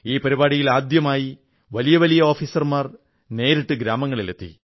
ഈ പരിപാടിയിൽ ആദ്യമായി വലിയ വലിയ ഓഫീസർമാർ നേരിട്ട് ഗ്രാമങ്ങളിലെത്തി